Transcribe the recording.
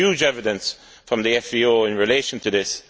There is huge evidence from the FVO in relation to this.